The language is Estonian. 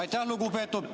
Aitäh, lugupeetud!